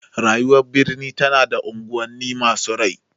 Rayuwar birni tana da unguwanni masu rai.